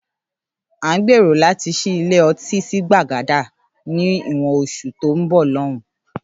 À ń gbèrò láti ṣí ilé ọtí sí Gbàgádà ni ìwọ̀n oṣù tó ń bọ̀ lóun